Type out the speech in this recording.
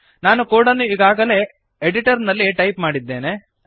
ನಾನು ಕೋಡನ್ನು ಈಗಾಗಲೇ ಎಡಿಟರ್ನಲ್ಲಿ ಟೈಪ್ ಮಾಡಿದ್ದೇನೆ